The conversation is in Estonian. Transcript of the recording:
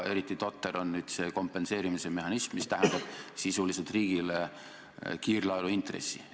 Eriti totter on see kompenseerimise mehhanism, mis sisuliselt tähendab riigile kiirlaenuintressi.